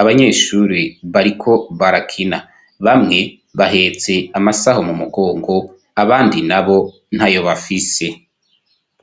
Abanyeshure bariko barakina bamwe bahetse amasaho mu mugongo abandi na bo ntayo bafise.